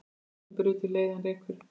Ljósið burtu leiðann rekur.